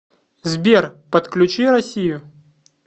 сбер подключи россию